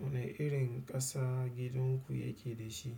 Wane irin ƙasa gidanku yake da shi?